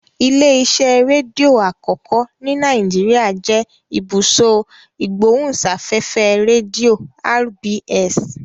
Ilé-iṣẹ́ rédíò àkọ́kọ́ ní Nàìjíríà jẹ́ Ibùsọ̀ Ìgbóhùsáfẹ́fẹ́ Rédíò (RBS).